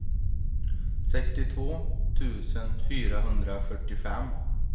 sextiotvå tusen fyrahundrafyrtiofem